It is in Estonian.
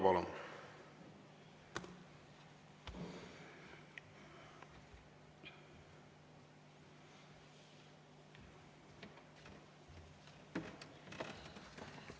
Palun!